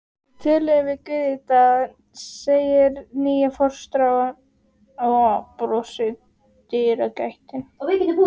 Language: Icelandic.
Við töluðum um Guð í dag, segir nýja fóstran og brosir í dyragættinni.